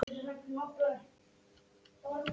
En hún er sterk og óvenju jöfn.